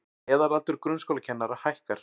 Meðalaldur grunnskólakennara hækkar